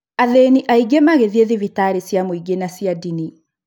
Athĩni aingĩ magĩthiĩ thibitarĩ cia mũingĩ na cia dini